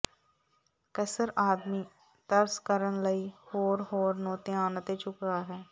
ਕਸਰ ਆਦਮੀ ਤਰਸ ਕਰਨ ਲਈ ਹੋਰ ਹੋਰ ਨੂੰ ਧਿਆਨ ਅਤੇ ਝੁਕਾਅ ਹੈ